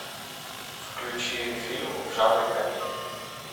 включи фильм в жанре комедия